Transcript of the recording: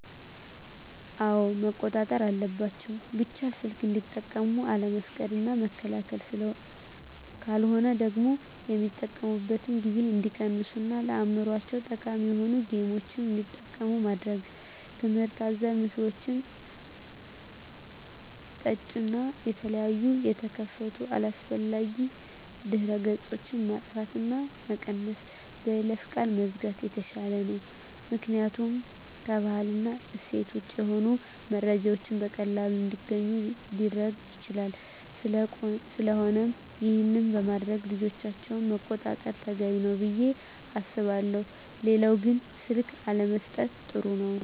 አወ መቆጣጠር አለባቸው ቢቻል ሰልክ እንዲጠቀሙ አለመፍቀድ እና መከልከል ካለሆነ ደግሞ የሚጠቀሚበትን ጊዜ እንዲቀንሡ እና ለአዕምሮቸው ጠቃሚ የሆኑ ጌምችን እንዲጠቀሙ ማድረግ ትምህርት አዘል ምስሎችን ጠጫን እና የተለያየ የተከፈቱ አላስፈላጊ ድህረ ገፆች ማጥፍት እና መቀነስ በይለፈ ቃል መዝጋት የተሻለ ነው ምክኒያቱም ከባህል እና እሴት ወጭ የሆኑ መረጃዎችን በቀላሉ እንዲገኙ ሊረግ ይችላል ስለቆነም ይሄን በማድረግ ልጆቻቸውን መቆጣጠር ተገቢ ነው። ብየ አስባለሁ ሌላው ግን ስልክ አለመሠጠት ጥሩ ነው